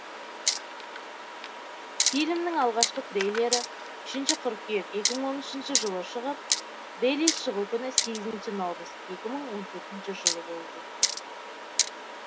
фильмнің алғашқы трейлері үшінші қыркүйек екі мың он үшінші жылы шығып релиз шығу күні сегізінші наурыз екі мың он төртінші жылы болып өтті